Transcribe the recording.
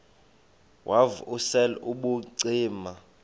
wav usel ubucima